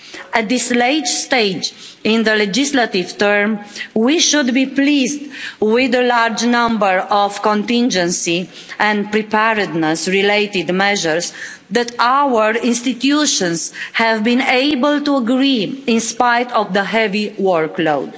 At this late stage in their legislative term, we should be pleased with a large number of contingency and preparedness related measures that our institutions have been able to agree, in spite of the heavy workload.